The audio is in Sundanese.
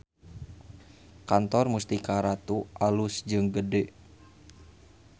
Kantor Mustika Ratu alus jeung gede